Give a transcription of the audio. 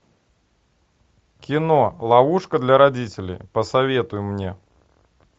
кино ловушка для родителей посоветуй мне